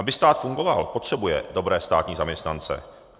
Aby stát fungoval, potřebuje dobré státní zaměstnance.